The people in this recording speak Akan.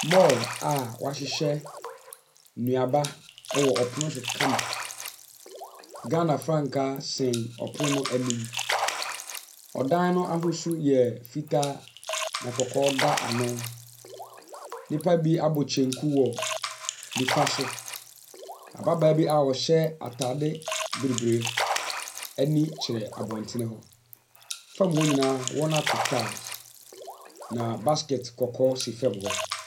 Mall a wɔahyehyɛ nnuaba ɛwɔ ɔpono so kama. Ghana frankaa sɛn ɔpono no anim. Ɔdan no ahosuo yɛ fitaa na kɔkɔɔ da ano. Nnipa bi abɔ kyenku wɔ nifa so. Ababaa bi a ɔhyɛ ataade bibre ani kyerɛ abɔnten hɔ. Fam hɔ nyinaa wɔato tiles na basket kɔkɔɔ si fam hɔ.